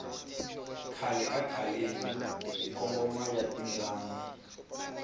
khale ka khaleni hi ngoma ya timbyana